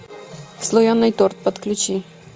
слоеный торт подключи